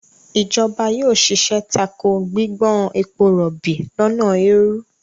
ìjọba yóò ṣiṣẹ́ tako gbígbọ́n ebo rọ̀bì lọ́nà èèrú.